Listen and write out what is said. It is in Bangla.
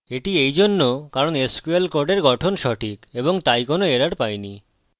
এটি এইজন্য কারণ sql কোডের গঠন সঠিক এবং তাই কোনো এরর পাইনি